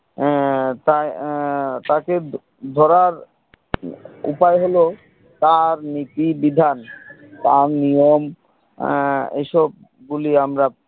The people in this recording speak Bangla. আহ তাঁর আহ তাকে ধরার উপায় হলো তাঁর নীতি বিধান তাঁর নিয়ম আহ এইসব গুলি আমরা